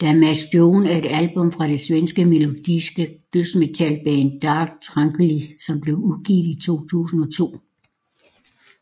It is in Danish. Damage Done er et album fra det svenske melodiske dødsmetalband Dark Tranquillity som blev udgivet i 2002